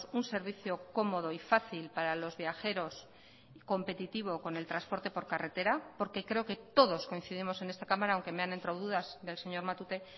un servicio cómodo y fácil para los viajeros competitivo con el transporte por carretera porque creo que todos coincidimos en esta cámara aunque me han entrado dudas del señor matute